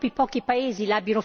Dobbiamo reagire!